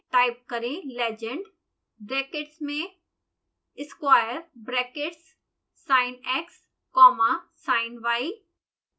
type करें legend brackets में square brackets sinx comma siny